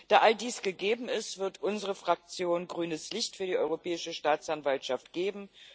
Da all dies gegeben ist, wird unsere Fraktion grünes Licht für die Europäische Staatsanwaltschaft geben.